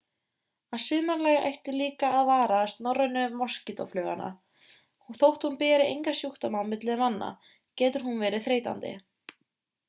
að sumarlagi ætti líka að varast norrænu moskítófluguna þótt hún beri enga sjúkdóma á milli manna getur hún verið þreytandi